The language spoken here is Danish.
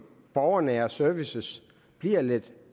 borgernære services bliver lidt